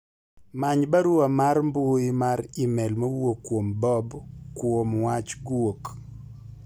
many barua mar mbui mar email mowuok kuom bob kuom wach guok